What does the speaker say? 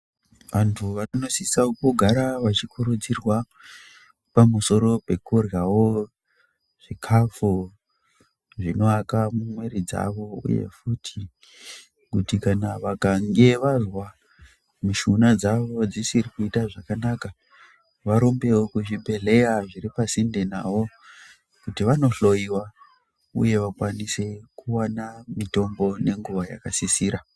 Antu vanosisa kumbogara vachikurudzirwa pamusoro pekuryawo zvikhafu zvinoaka muviri dzavo. Uye futi kuti kana vakange vazwa mishuna dzavo dzisiri kuita zvakanaka varumbewo kuzvibhedhleya zviri pasinde navo kuti vanohloyiwa uye vakwanise kuwana mitombo nenguwa yakasisira.